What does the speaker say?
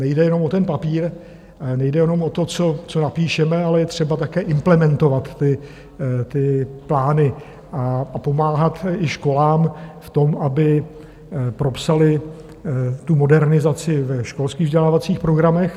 Nejde jenom o ten papír, nejde jenom o to, co napíšeme, ale je třeba také implementovat ty plány a pomáhat i školám v tom, aby propsaly tu modernizaci ve školských vzdělávacích programech.